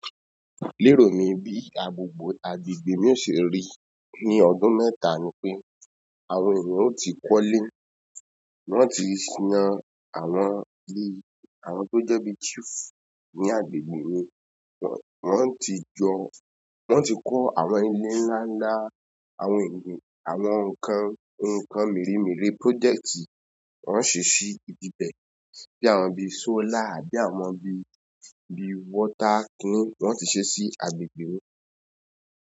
Lérò mi, bí agbogbo agbègbè mi ó ṣe rí ní ọdún mẹ́ta ni pé àwọn ènìyàn ó ti kọ́lé, wọ́n ti siná àwọn ilé, àwọn tó jẹ́ bí chief ní agbègbè mi wọ́n ti jọ-- wọ́n ti kó àwọn ilé ńlá ńlá, àwọn ẹ̀mí, àwọn nǹkan, nǹkan mere mere project wọ́n ń ṣí sí ibẹ́ẹ̀, bí àwọn bí solar àbí àwọn bí, bí water kún wọ́n ti ṣe sí agbègbè mi.